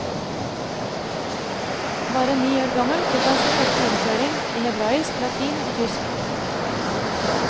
Bare ni år gammel fikk han sin første innføring i hebraisk, latin og tysk.